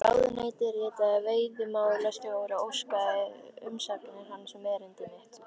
Ráðuneytið ritaði veiðimálastjóra og óskaði umsagnar hans um erindi mitt.